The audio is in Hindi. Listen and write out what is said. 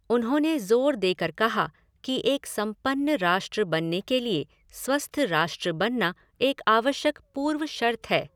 उन्होंने ज़ोर देकर कहा कि एक संपन्न राष्ट्र बनने के लिए स्वस्थ राष्ट्र बनना एक आवश्यक पूर्व शर्त है।